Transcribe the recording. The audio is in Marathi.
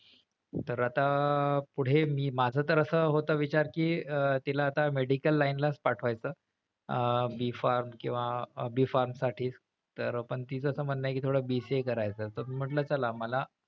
तर आता पुढे मी माझं तर असं होत विचार कि अह तिला आता medical line ला च पाठवायचं. अह B farm किंवा B farm साठीच तर पण तीच असं म्हणणं आहे कि थोडं BCA करायचं तर मी म्हंटल चला,